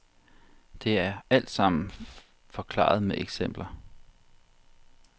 Det er alt sammen forklaret med eksempler.